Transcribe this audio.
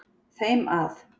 þeim að